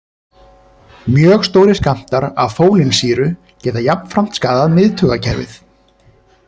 Mjög stórir skammtar af fólínsýru geta jafnframt skaðað miðtaugakerfið.